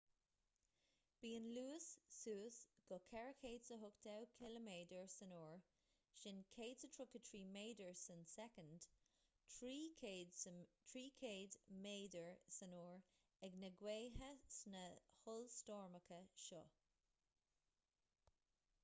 bíonn luas suas go 480 km/u 133 m/s; 300 msu ag na gaotha sna hollstoirmeacha seo